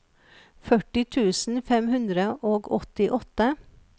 førti tusen fem hundre og åttiåtte